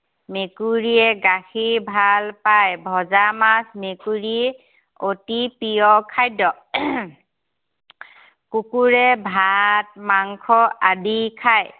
মেকুৰীয়ে গাখীৰ ভাল পায়। ভজা মাছ মেকুৰীৰ অতি প্ৰিয় খাদ্য়। কুকুৰে ভাত মাংস আদি খায়